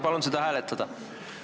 Palun seda hääletada!